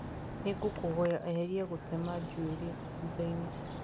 nĩ ngũkũhoya eheria gũtema njuĩrĩ thutha-inĩ